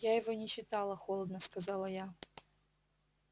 я его не читала холодно сказала я